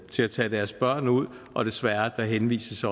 til at tage deres børn ud og desværre der henvises